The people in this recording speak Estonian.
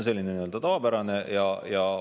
See on tavapärane redel.